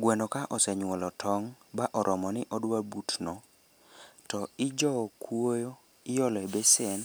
Gweno ka osenyuolo tong' ba oromo ni odwa butno to ijowo kuoyo iolo e besen